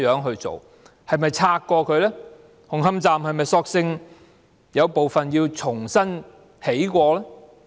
紅磡站是否索性有部分須重新興建呢？